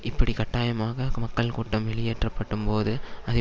இப்படி கட்டாயமாக மக்கள் கூட்டம் வெளியேற்றப்பட்டும்போது அது